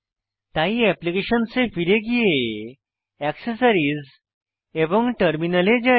তাই অ্যাপ্লিকেশনস এ ফিরে গিয়ে অ্যাক্সেসরিজ এবং টার্মিনাল এ যাই